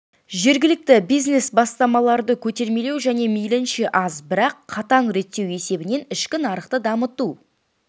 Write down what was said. жергілікті бизнес-бастамаларды көтермелеу және мейлінше аз бірақ қатаң реттеу есебінен ішкі нарықты дамыту